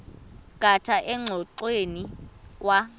khatha engxoweni kwa